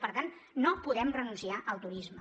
per tant no podem renunciar al turisme